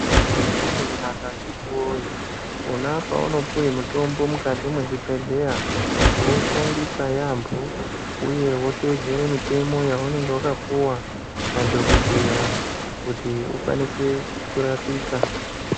Zvakadini kunaka akhitiwoye, pona paunopuwe mutombo mukati mwezvibhedhleya, woushandisa yaampho, uye woteedzere mitemo yaunenge wakapuwa ,nadhokodheya, kuti ukwanise kurapika.